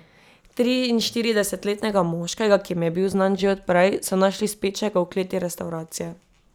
Triinštiridesetletnega moškega, ki jim je bil znan že od prej, so našli spečega v kleti restavracije.